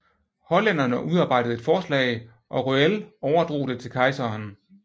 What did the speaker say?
Hollænderne udarbejdede et forslag og Röell overdrog det til kejseren